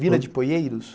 Vila de Poieiros?